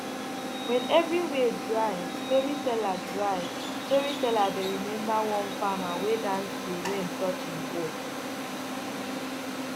when everywhere dry storyteller dry storyteller dey remember one farmer wey dance till rain touch him hoe